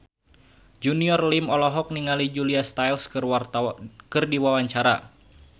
Junior Liem olohok ningali Julia Stiles keur diwawancara